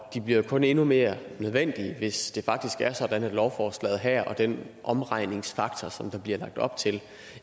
de bliver jo kun endnu mere nødvendige hvis det faktisk er sådan at lovforslaget her og den omregningsfaktor som der bliver lagt op til